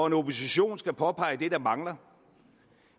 en opposition skal påpege det der mangler